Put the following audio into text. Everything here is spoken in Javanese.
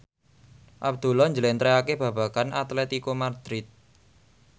Abdullah njlentrehake babagan Atletico Madrid